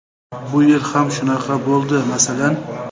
Bu yil ham shunaqa bo‘ldi, masalan.